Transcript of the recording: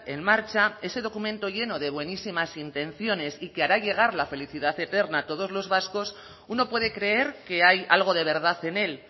en marcha ese documento lleno de buenísimas intenciones y que hará llegar la felicidad eterna a todos los vascos uno puede creer que hay algo de verdad en él